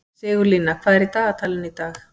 Sigurlína, hvað er í dagatalinu í dag?